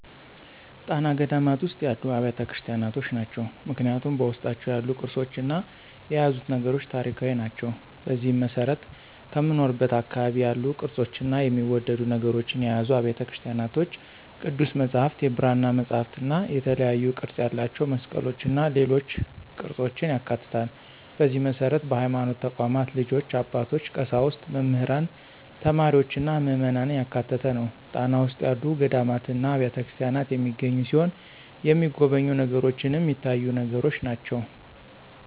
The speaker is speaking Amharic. ጣና ገዳማት ውስጥ ያሉ አብያተ ክርስቲያኖች ናቸው። ምክንያቱም በውስጣቸው ያሉት ቅርሶችና የያዙት ነገሮች ታሪካዊ ናቸው። በዚህም መሰረት ከምኖርበት አካባቢ ያሉ ቅርፆችና የሚወደዱ ነገሮችን የያዙ አብያተ ቤተክርስቲያኖች ቅዱስ መፅሐፍት፣ የብራና መፅሐፍትእና የተለያዩ ቅርፅ ያላቸው መስቀሎችና ሌሎች ቅርፆችን ያካትታል፣ በዚህ መሰረት በሀይማኖት ተቋማት ልጆች፣ አባቶች፣ ቀሳውስት፣ መምህራን፣ ተማሪዎችና ምዕመናን ያካተተ ነው። ጣና ውስጥ ያሉ ገዳማትና አብያተክርስቲያናት የሚገኙ ሲሆን የተሚጎበኙ ነገሮችንም ሚታዩትን ነገሮች ናቸው።